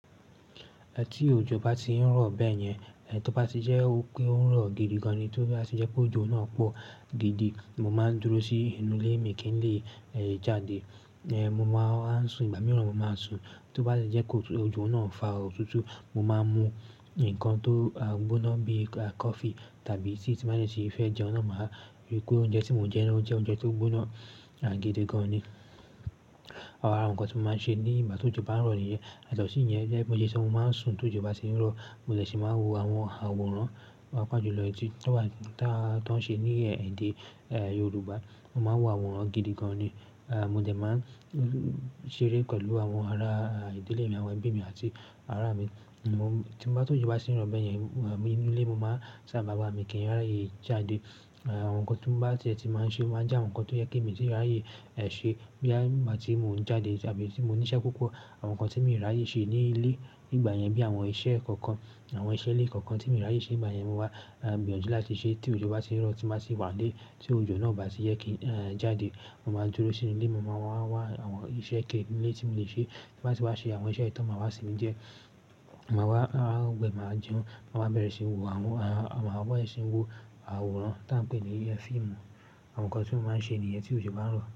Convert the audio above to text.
Tí òjò bá ti ń rọ̀ bẹ́yẹn, ẹ tó bá ti jẹ́ wipé ó ń rọ̀ gidi gan ni, tó bá ti jẹ́ pé òjò náà pọ̀ gidi, mo máa ń dúró sí inú ilé mi kí n lè jáde. Mo máa ń sùn, ìgbà mìíràn mo máa sùn. Tó bá ti jẹ́ kó òjò náà n fa òtútù, mo máa ń mu ǹkan tó gbóná bíi coffee tàbí tea ti n ba dẹ sì fẹ́ jẹun náà, máa rí pe oúnjẹ tí mo ń jẹ náà jẹ́ oúnjẹ tó gbóná gidi gan ni. Ara àwọn ǹkan tí mo máa ń ṣe ní ìgbà tó òjò bá ń rọ̀ nìyẹn. Yatọ̀sí yẹn o jẹ́ pé mo le ṣẹ̀ mo máa ń sùn tó ojọ bá ti ń rọ̀. Mo dẹ̀ ṣì máa n wo àwọn àwòrán, páa pàá jù lọ eyití. Tó bá dá, tán ṣe ní èdè Yorùbá, mo máa n wo àwòrán gidi gan ni. Mo dẹ̀ máa ń ṣeré pẹ̀lú àwọn ará ìdílé mi, àwọn ẹgbe mi àti ará mi. Tí n tu tii n ba shirun bẹ́yẹn, mo máa waa nínú ilé mo máa sábà wà, mi kìi n ráyè jáde. Àwọn nǹkan tí bá tie ti máa ń ṣe máa jẹ́ àwọn nǹkan tó yẹ kí mi tíì ráyè ṣe bóyá ìgbà tí mò ń jáde tàbí tí mò ń níṣẹ́ púpọ̀. Àwọn nǹkan tí mi ń ràyè ṣe ní ilé nígbà yẹn bí i àwọn iṣẹ́ kọ̀ọ̀kan, àwọn iṣẹ́ ilé kọ̀ọ̀kan tí mi ń rí àyè ṣe nígbà yẹn mo máa ń bẹ̀rẹ̀ láti ṣe ti ojọ bá ti ń rọ̀ tí màá ṣi wà n ílé. Tí òjò náà baa sì jẹ́ kí n ehn, jáde, mo máa dúró sínú ilé, mo máa wá wá àwọn iṣẹ́ ké nílé tí mo lè ṣe. Tíbati wàá ṣe wá ṣe àwọn iṣẹ́ yìí tán, màá wá sinmi dié, màá wá gbẹ, màá jẹun, màá bẹ̀rẹ̀ ṣí ń wo àwọn, màá wọ́n ṣí ń wo àwòrán táa ń pè ní é fíìmù. Àwọn nǹkan tí mo máa ń ṣe nìyẹn ti ìjọ bá ń rọ̀.